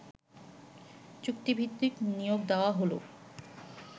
চুক্তিভিত্তিক নিয়োগ দেয়া হল